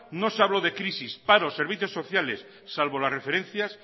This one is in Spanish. no se habló de crisis paro servicios sociales salvo las referencias